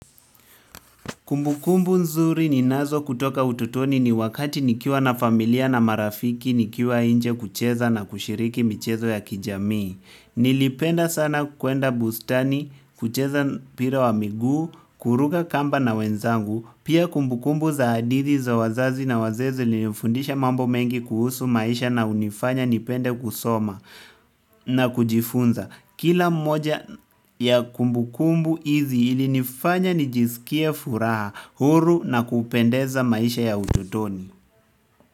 Kumbukumbu nzuri ninazo kutoka utotoni ni wakati nikiwa na familia na marafiki nikiwa nje kucheza na kushiriki michezo ya kijamii. Nilipenda sana kwenda bustani, kucheza mpira wa miguu, kuruka kamba na wenzangu, pia kumbukumbu za hadithi za wazazi na wazee zilinifundisha mambo mengi kuhusu maisha na hunifanya nipende kusoma na kujifunza. Kila moja ya kumbukumbu hizi ili nifanya nijisikie furaha, huru na kupendeza maisha ya utotoni.